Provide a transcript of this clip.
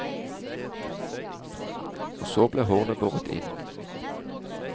Og så blir hornet båret inn.